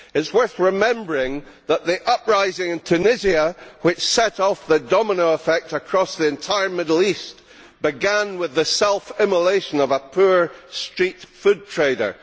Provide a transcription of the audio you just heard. It is worth remembering that the uprising in Tunisia which set off the domino effect across the entire Middle East began with the self immolation of a poor street food trader.